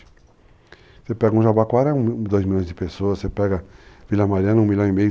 Você pega um Jabaquara é dois milhões de pessoas, você pega Vila Mariana um milhão e meio.